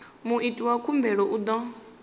muiti wa khumbelo u ḓo